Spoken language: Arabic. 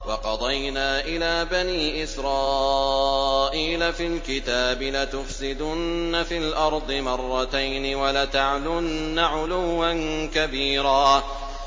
وَقَضَيْنَا إِلَىٰ بَنِي إِسْرَائِيلَ فِي الْكِتَابِ لَتُفْسِدُنَّ فِي الْأَرْضِ مَرَّتَيْنِ وَلَتَعْلُنَّ عُلُوًّا كَبِيرًا